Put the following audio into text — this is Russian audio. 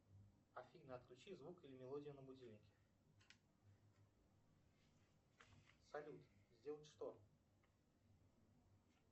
афина отключи звук или мелодию на будильнике салют сделать что